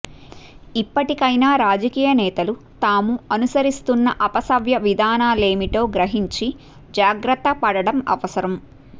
ఇప్పటికయినా రాజకీయ నేతలు తాము అనుసరిస్తున్న అపసవ్య విధానాలేమిటో గ్రహించి జాగ్రత్త పడడం అవసరం